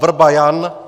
Wrba Jan